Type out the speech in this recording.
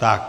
Tak.